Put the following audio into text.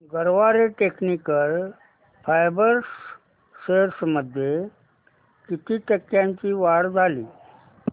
Garware technical fibres shares मध्ये किती टक्क्यांची वाढ झाली